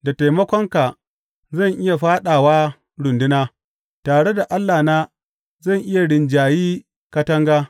Da taimakonka zan iya fāɗa wa runduna; tare da Allahna zan iya rinjayi katanga.